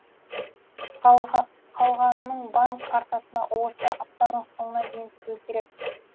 қалғанының банк картасына осы аптаның соңына дейін түсуі керек